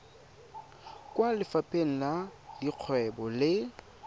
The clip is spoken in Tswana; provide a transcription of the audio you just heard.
kwa lefapheng la dikgwebo le